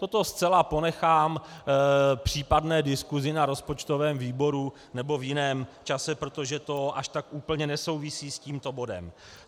Toto zcela ponechám případné diskusi na rozpočtovém výboru nebo v jiném čase, protože to až tak úplně nesouvisí s tímto bodem.